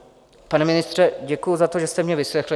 Pane ministře, děkuji za to, že jste mě vyslechl.